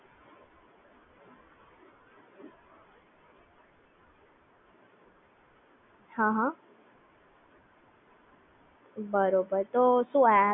બરોબર તો શું એ Google Pay છે એ કોઈ ડી હું શોપ પાર કે એમ યુઝ કરી શકું છું